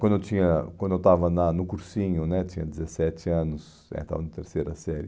Quando eu tinha quando eu estava na no cursinho né, tinha dezessete anos, é, estava na terceira série,